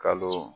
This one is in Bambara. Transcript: Kalo